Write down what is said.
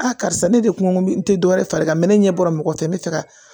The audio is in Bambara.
Aa karisa ne de kun bɛ n tɛ dɔwɛrɛ far'i kan mɛ ne ɲɛ bɔra mɔgɔ fɛ n bɛ fɛ ka